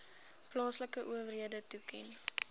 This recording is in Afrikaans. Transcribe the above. plaaslike owerhede toeken